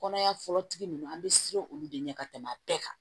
Kɔnɔya fɔlɔ tigi ninnu an bɛ siran olu de ɲɛ ka tɛmɛ bɛɛ kan